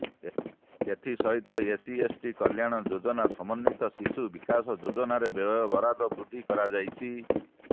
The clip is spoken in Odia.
ଏଥିସହିତ ଏସ୍ସିଏସ୍ଟି କଲ୍ୟାଣ ଯୋଜନା ସମନ୍ୱିତ ଶିଶୁ ବିକାଶ ଯୋଜନାରେ ବ୍ୟୟବରାଦ ବୃଦ୍ଧି କରାଯାଇଛି